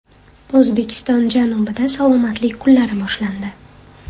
O‘zbekiston janubida salomatlik kunlari boshlandi.